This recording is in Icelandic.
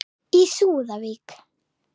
Í súðavík